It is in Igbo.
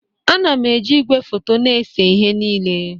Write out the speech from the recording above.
Ana m eji igwefoto na-ese ihe niile